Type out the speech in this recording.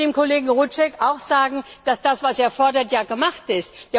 Ich möchte dem Kollegen Rouček auch sagen, dass das, was er fordert, ja gemacht ist.